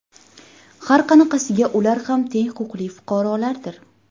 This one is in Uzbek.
Har qanaqasiga, ular ham teng huquqli fuqarolardir.